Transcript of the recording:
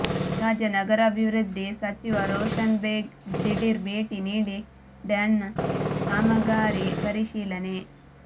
ರಾಜ್ಯ ನಗರಾಭಿವೃದ್ಧಿ ಸಚಿವ ರೋಶನ್ ಬೇಗ್ ದಿಢೀರ್ ಭೇಟಿ ನೀಡಿ ಡ್ಯಾಂನ ಕಾಮಗಾರಿ ಪರಿಶೀಲನೆ